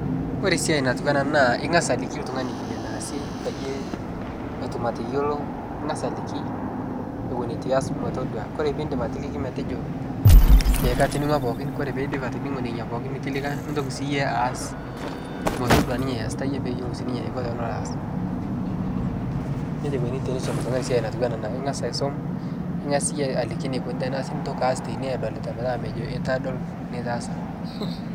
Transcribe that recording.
Ore esiai natiunaa ana ingas aliki ltungani bile neasi peyie etum atayiolo, ingas aliki ewen etu iyas metodua. Kore piindip atiliki metejo ee katoning'ua pookin, koree peidip atoning'u nena pookin nitolika, nintoki sii iyie aas metodua ninye iasita iyie peyie eyiolou sii ninye neiko peelo aaas. Neja eikoni teneisumi ltungani siai natiwuaa inia. Ingas aisum, ningas iyie aliki neikoni teneasi nintoki aas teineweji edolita metaa mejo eitu adol.